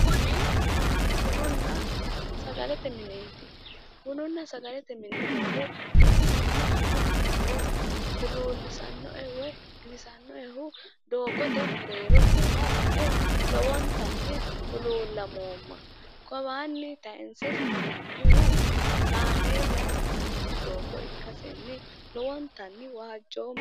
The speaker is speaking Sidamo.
Kuni bununna sagalete mineet bununna sagalete mine noohu baxisannohanno ikkiro huluulisanoe woy giwisanoehu doogote mereero nooha lae lowonittani huluulamooma kawaani tayinse sa'nanihu kaameella sa'ano doogo ikkasenni lowonittani waajjooma